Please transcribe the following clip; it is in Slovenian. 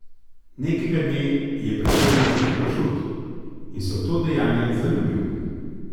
Nekega dne je pričel rezati pršut in se v to dejanje zaljubil.